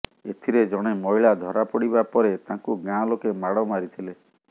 ଏଥିରେ ଜଣେ ମହିଳା ଧରାପଡ଼ିବା ପରେ ତାଙ୍କୁ ଗାଁ ଲୋକେ ମାଡ଼ ମାରିଥିଲେ